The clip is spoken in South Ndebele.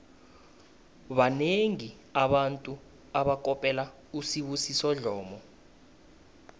banengi abantu abakopela usibusiso dlomo